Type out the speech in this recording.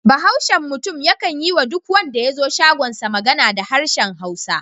Bahaushen mutum yakan yi wa duk wanda ya zo shagonsa magana da harshen Hausa.